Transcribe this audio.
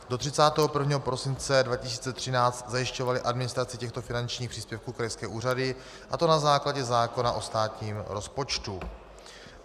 Do 31. prosince 2013 zajišťovaly administraci těchto finančních příspěvků krajské úřady, a to na základě zákona o státním rozpočtu.